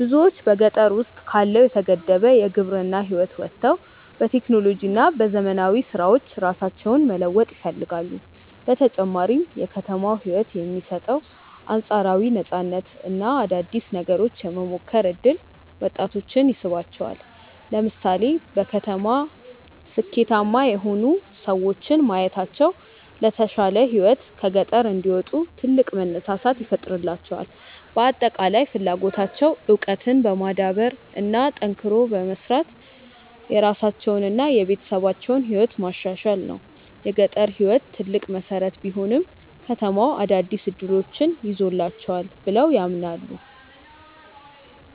ብዙዎች በገጠር ውስጥ ካለው የተገደበ የግብርና ህይወት ወጥተው በቴክኖሎጂ እና በዘመናዊ ስራዎች ራሳቸውን መለወጥ ይፈልጋሉ። በተጨማሪም የከተማው ህይወት የሚሰጠው አንፃራዊ ነፃነት እና አዳዲስ ነገሮችን የመሞከር እድል ወጣቶችን ይስባቸዋል። ለምሳሌ በከተማ ስኬታማ የሆኑ ሰዎችን ማየታቸው ለተሻለ ህይወት ከገጠር እንዲወጡ ትልቅ መነሳሳት ይፈጥርላቸዋል። በአጠቃላይ ፍላጎታቸው እውቀትን በማዳበር እና ጠንክሮ በመስራት የራሳቸውንና የቤተሰባቸውን ህይወት ማሻሻል ነው። የገጠር ህይወት ትልቅ መሰረት ቢሆንም፣ ከተማው አዳዲስ እድሎችን ይዞላቸዋል ብለው ያምናሉ።